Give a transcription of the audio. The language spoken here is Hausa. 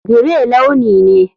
Grey launi ne.